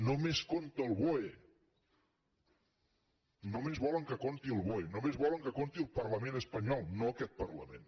només compta el boe només volen que compti el boe només volen que compti el parlament espanyol no aquest parlament